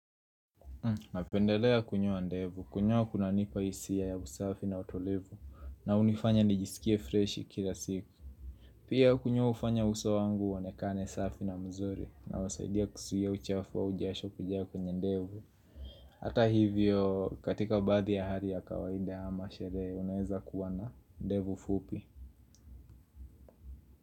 Napendelea kunyoa ndevu, kunyoa kunanipa hisia ya usafi na utolevu na hunifanya nijisikie freshi kila siku. Pia kunyoa hufanya uso wangu uonekane safi na mzuri na unasaidia kuzuia uchafu au jasho kujaa kwenye ndevu Hata hivyo katika baadhi ya hali ya kawaida ama sherehe unaweza kuwa na ndevu fupi.